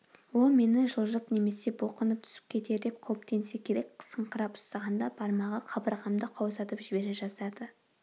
ол мені жылжып немесе бұлқынып түсіп кетер деп қауіптенсе керек қысыңқырап ұстағанда бармағы қабырғамды қаусатып жібере жаздады